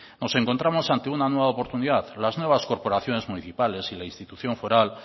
nos encontramos ante una nueva oportunidad las nuevas corporaciones municipales y la institución foral